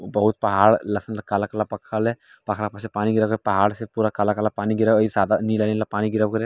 वो बहुत पहाड़ लसना काला काला पखाल है पहाड़ पर से पानी गिरा था पहाड़ से पूरा काला काला पानी गिरा था और के साथ में नीला नीला पानी गिरा --